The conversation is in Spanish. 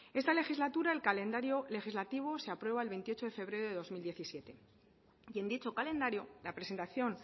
esta legislatura el calendario legislativo se aprueba el veintiocho de febrero de dos mil diecisiete y en dicho calendario la presentación